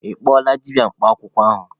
Ị kpọọla dibịa mkpa akwụkwọ ahụ?